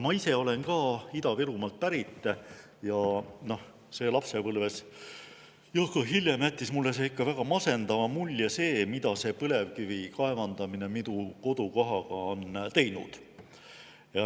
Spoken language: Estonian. Ma ise olen ka Ida-Virumaalt pärit ning lapsepõlves ja ka hiljem jättis mulle ikka väga masendava mulje see, mida põlevkivi kaevandamine on minu kodukohaga teinud.